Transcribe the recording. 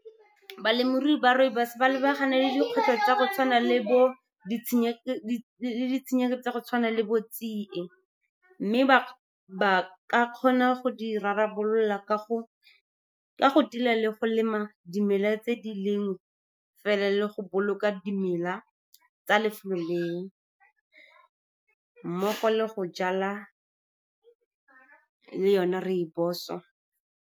Balemirui ba rooibos ba lebagane le dikgwetlho tsa go tshwana le bo , ditshenyegelo tsa go tshwana le bo tsie. Mme ba ka kgona go di rarabolola ka go tila le go lema dimela tse di leng fela, le go boloka dimela tsa lefelo leo mmogo le go jala le yone rooibos-o.